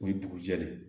O ye dugu jɛlen